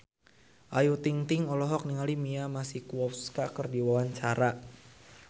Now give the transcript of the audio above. Ayu Ting-ting olohok ningali Mia Masikowska keur diwawancara